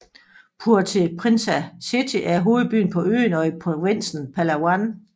Puerto Princesa City er hovedbyen på øen og i provinsen Palawan